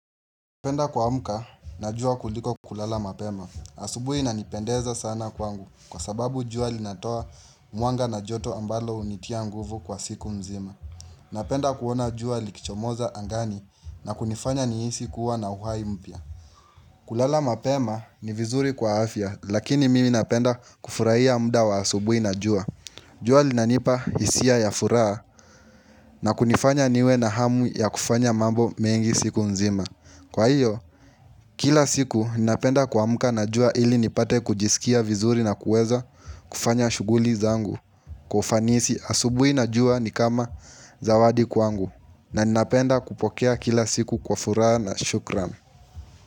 Napenda kuamka na jua kuliko kulala mapema. Asubuhi inanipendeza sana kwangu kwa sababu jua linatoa mwanga na joto ambalo hunitia nguvu kwa siku nzima. Napenda kuona jua likichomoza angani na kunifanya nihisi kuwa na uhai mpya. Kulala mapema ni vizuri kwa afya lakini mimi napenda kufurahia muda wa asubuhi na jua. Jua linanipa hisia ya furaha na kunifanya niwe na hamu ya kufanya mambo mengi siku nzima. Kwa hiyo, kila siku ninapenda kuamka na jua ili nipate kujisikia vizuri na kuweza kufanya shughuli zangu, kwa ufanisi. Asubuhi na jua ni kama zawadi kwangu, na ninapenda kupokea kila siku kwa furaha na shukurani.